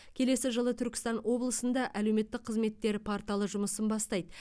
келесі жылы түркістан облысында әлеуметтік қызметтер порталы жұмысын бастайды